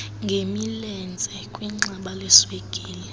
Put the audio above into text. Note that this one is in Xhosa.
ngemilenze kwixamba leswekile